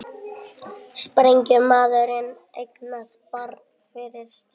Sprengjumaðurinn eignaðist barn fyrir stuttu